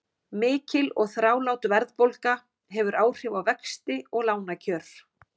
Mikil og þrálát verðbólga hefur áhrif á vexti og lánakjör.